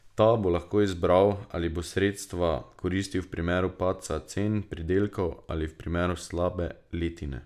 Ta bo lahko izbiral, ali bo sredstva koristil v primeru padca cen pridelkov ali v primeru slabe letine.